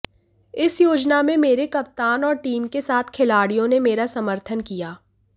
इस योजना में मेरे कप्तान और टीम के साथ खिलाड़ियों ने मेरा समर्थन किया